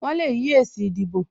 Wọn le yí èsì ìdìbò